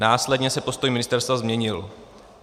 Následně se postoj ministerstva změnil.